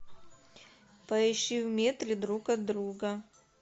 поищи в метре друг от друга